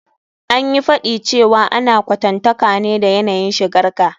An yi faɗi cewa ana kwatantaka ne da yanayin shigar ka.